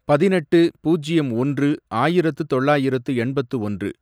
பதினெட்டு, பூஜ்யம் ஒன்று, ஆயிரத்து தொள்ளாயிரத்து எண்பத்து ஒன்று